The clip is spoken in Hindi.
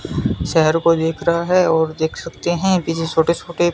शहर को देख रहा है और देख सकते हैं पीछे छोटे छोटे--